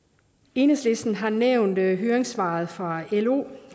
enhedslisten har nævnt høringssvaret fra lo